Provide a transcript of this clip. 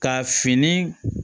Ka fini